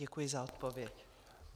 Děkuji za odpověď.